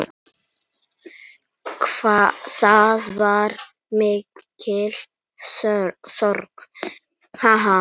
Það var mikil sorg.